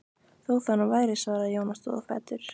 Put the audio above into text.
Þó það nú væri, svaraði Jón og stóð á fætur.